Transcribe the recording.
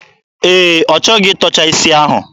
Ee, ọ chọghị ịtọcha isi ahụ.